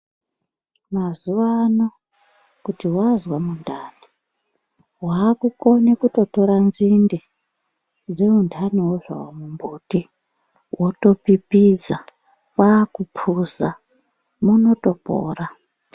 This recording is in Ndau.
Mazuwa anaa kuti wazwa mundani wakutokone kutortora nzinde dzemundaniwo zvawo mumbuti wotopipidza kwakupuza munotopora